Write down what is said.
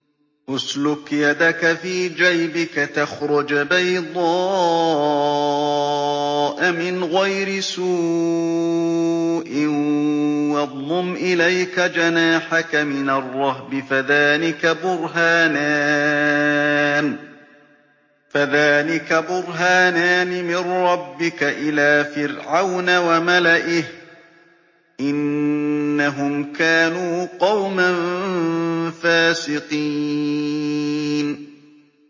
اسْلُكْ يَدَكَ فِي جَيْبِكَ تَخْرُجْ بَيْضَاءَ مِنْ غَيْرِ سُوءٍ وَاضْمُمْ إِلَيْكَ جَنَاحَكَ مِنَ الرَّهْبِ ۖ فَذَانِكَ بُرْهَانَانِ مِن رَّبِّكَ إِلَىٰ فِرْعَوْنَ وَمَلَئِهِ ۚ إِنَّهُمْ كَانُوا قَوْمًا فَاسِقِينَ